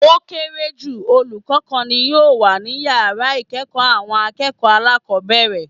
Ó kéré jù olùkó kan ni yòò wà ní yàrá ìkéèkó àwọn akéèkòó alákòbéèrè